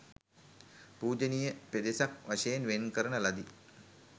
පූජනීය පෙදෙසක් වශයෙන් වෙන් කරන ලදී.